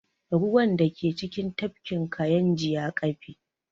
Ruwan da ke cikin tafkin kayinji ya ƙafe